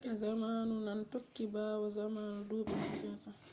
yake zamanu nane tokki ɓawo zamanu duuɓi 1500